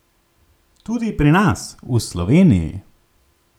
Tudi pri nas, v Sloveniji.